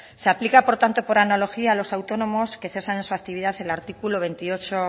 se aplica por tanto por analogía a los autónomos que cesan esa actividad el articulo veintiocho